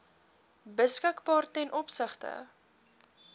beskikbaar ten opsigte